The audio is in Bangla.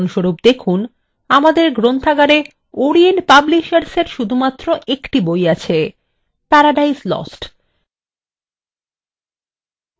উদাহরণস্বরূপ দেখুন আমাদের গ্রন্থাগারে orient publishersfor শুধুমাত্র একটি বই আছে paradise lost